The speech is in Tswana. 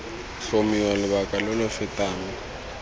tlhomiwa lobaka lo lo fetang